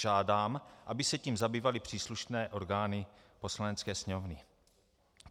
Žádám, aby se tím zabývaly příslušné orgány Poslanecké sněmovny."